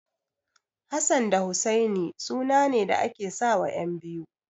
Hassan da Husaini sunane da ake sawa ƴan biyu.